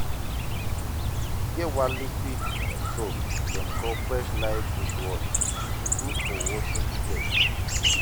e get one liquid soap dem call fresh-life dishwash, e gud for washing plates